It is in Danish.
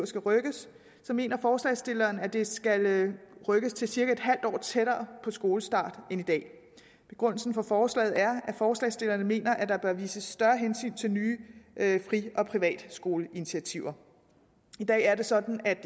skal rykkes så mener forslagsstillerne at det skal rykkes til cirka et halvt år tættere på skolestart end i dag begrundelsen for forslaget er at forslagsstillerne mener at der bør vises større hensyn til nye fri og privatskoleinitiativer i dag er det sådan at